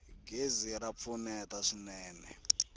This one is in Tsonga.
gezi ra pfuneta swinene